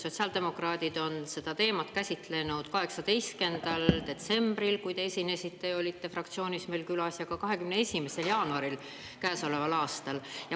Sotsiaaldemokraadid on seda teemat käsitlenud 18. detsembril, kui te esinesite ja olite fraktsioonis meil külas, ja ka 21. jaanuaril käesoleval aastal.